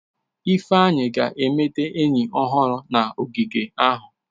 Ifeanyi ga-emeta enyi ọhụrụ na ogige ahụ.